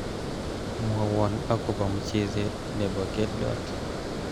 mwowon akobo mchezet nebo keldot